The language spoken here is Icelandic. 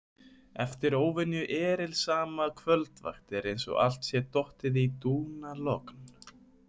Eftir óvenju erilsama kvöldvakt er eins og allt sé dottið í dúnalogn.